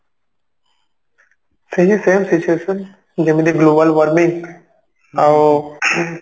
ସେଇ same situation ଯେମିତି global warming ଆଉ ing